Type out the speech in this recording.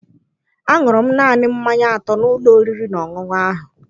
Aṅụrụ m naanị mmanya atọ n'ụlọ oriri na ọṅụṅụ ahụ.